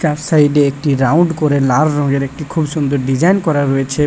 চার সাইড -এ একটি রাউন্ড করে লাল রঙের একটি খুব সুন্দর ডিজাইন করা রয়েছে।